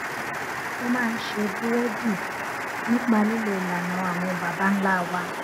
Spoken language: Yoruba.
mo máa ń ṣe búrédì nípa lílo ìlànà àwọn baba ńlá wa